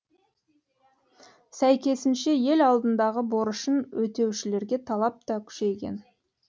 сәйкесінше ел алдындағы борышын өтеушілерге талап та күшейген